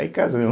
Aí casamos.